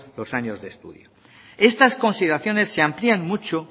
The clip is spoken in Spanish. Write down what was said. los años de estudio estas consideraciones se amplían mucho